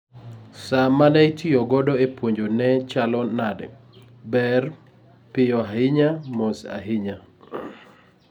sa mane itiyo kodo e puonjo ne chalo nade ,ber, piyo ahinya,, moss ahinya